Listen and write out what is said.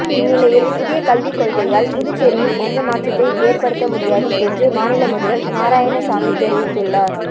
இந்நிலையில் புதிய கல்விக்கொள்கையால் புதுச்சேரியில் எந்த மாற்றத்தையும் ஏற்படுத்த முடியாது என்று மாநில முதல்வர் நாராயணசாமி தெரிவித்துள்ளார்